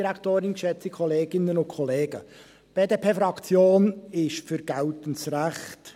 Die BDP-Fraktion ist für geltendes Recht.